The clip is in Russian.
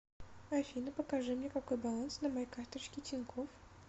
афина покажи мне какой баланс на моей карточке тинькофф